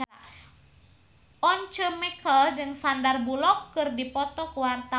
Once Mekel jeung Sandar Bullock keur dipoto ku wartawan